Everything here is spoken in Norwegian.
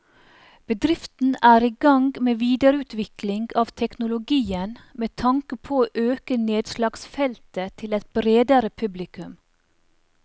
Bedriften er i gang med videreutvikling av teknologien med tanke på å øke nedslagsfeltet til et bredere publikum.